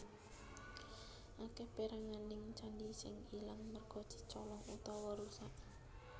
Akèh péranganing candhi sing ilang merga dicolong utawa rusak